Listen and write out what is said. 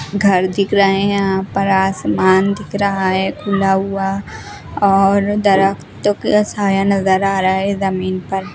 घर दिख रहे हैं यहाँ पर आसमान दिख रहा है खुला हुआ और दरख्त का शाया नजर आ रहा है जमीन पर।